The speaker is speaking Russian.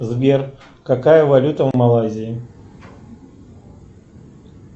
сбер какая валюта в малайзии